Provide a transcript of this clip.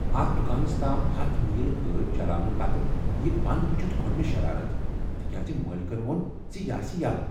اتھ دکانس تام ہَتھ میل گٲڑۍ چللاونہٕ پتہٕ یہ بنٛد وُچھتھ کھوٚت مےٚ شرارتھ تکیاز مٲلکن ووٚن ز یہ آسہ یَلہ